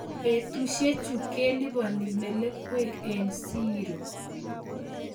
betusichu kelipani melekwek eng siiro